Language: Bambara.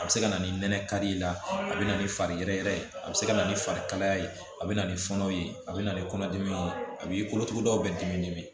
A bɛ se ka na ni nɛnɛ kari la a bɛ na ni fari yɛrɛ yɛrɛ ye a bɛ se ka na ni fari kalaya ye a bɛ na ni fɔnɔw ye a bɛ na ni kɔnɔdimi ye a b'i kolotugudaw bɛ dimi dimi